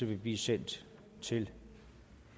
vil blive sendt til